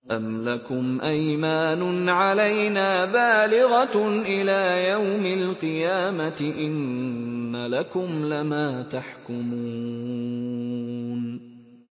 أَمْ لَكُمْ أَيْمَانٌ عَلَيْنَا بَالِغَةٌ إِلَىٰ يَوْمِ الْقِيَامَةِ ۙ إِنَّ لَكُمْ لَمَا تَحْكُمُونَ